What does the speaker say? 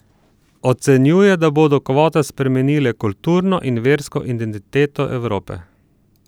Ocenjuje, da bodo kvote spremenile kulturno in versko identiteto Evrope.